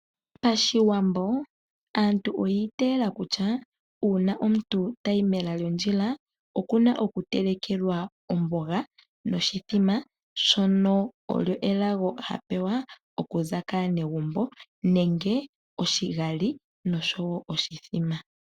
Pashiwambo aantu oya itayela kutya uuna omuntu tayi mela lyondjila okuna oku telekelwa omboga noshithima, shono osho elago hapewa okuza kaanegumbo nenge oshigali noshowo oshithima.